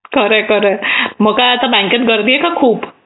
खरे खरे मग काय बँकेत गर्दी आहे का खूप?